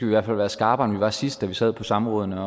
i hvert fald være skarpere end vi var sidst da vi sad på samrådene